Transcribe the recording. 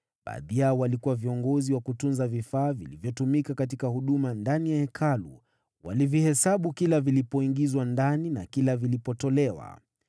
Baadhi yao walikuwa viongozi wa kutunza vifaa vilivyotumika katika huduma ndani ya Hekalu; walivihesabu kila vilipoingizwa ndani na kila vilipotolewa.